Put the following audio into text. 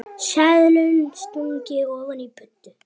Seðlum stungið ofan í buddu.